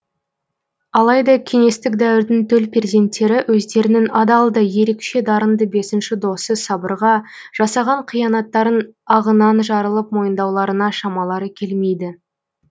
алайда кеңестік дәуірдің төл перзенттері өздерінің адал да ерекше дарынды бесінші досы сабырға жасаған қиянаттарын ағынан жарылып мойындауларына шамалары келмейді